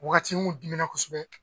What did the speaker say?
Wagati n kun dimina kosɛbɛ